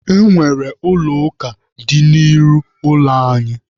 E nwere Ụlọ ụka dị n'ihu ụlọ anyị.